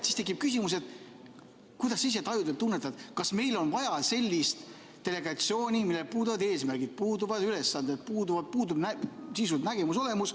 Siis tekib küsimus, kuidas sa ise tajud ja tunnetad, kas meil on vaja sellist delegatsiooni, millel puuduvad eesmärgid, puuduvad ülesanded, puudub sisuliselt nägemus-olemus.